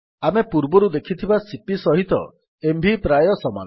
ଆମେ ପୂର୍ବରୁ ଦେଖିଥିବା ସିପି ସହିତ ଏମଭି ପ୍ରାୟ ସମାନ